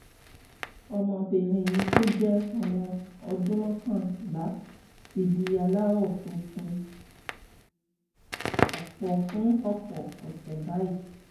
ọmọbìnrin mi tó jẹ́ ọmọ ọdún mọ́kànlá ti di aláwọ̀ funfun fún ọ̀pọ̀ fún ọ̀pọ̀ ọ̀sẹ̀ báyìí